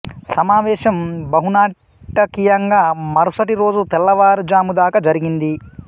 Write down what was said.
సమావేశం బహు నాటకీయంగా మరుసటి రోజు తెల్లవారు జాముదాకా జరిగింది